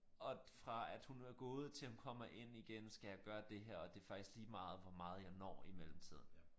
Og fra at hun er gået til hun kommer ind igen skal jeg gøre det her og det er faktisk ligemeget hvor meget jeg når i mellemtiden